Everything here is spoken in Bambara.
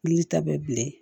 Wuli ta bɛ bilen